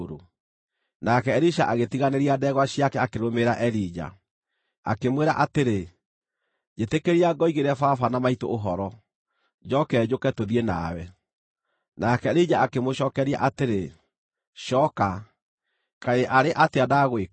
Nake Elisha agĩtiganĩria ndegwa ciake akĩrũmĩrĩra Elija. Akĩmwĩra atĩrĩ, “Njĩtĩkĩria ngoigĩre baba na maitũ ũhoro, njooke njũke tũthiĩ nawe.” Nake Elija akĩmũcookeria atĩrĩ, “Cooka, kaĩ arĩ atĩa ndagwĩka?”